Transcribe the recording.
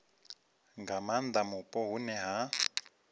nga maanda mupo hune ha